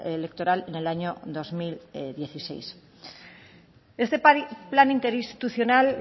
electoral en el año dos mil dieciséis este plan interinstitucional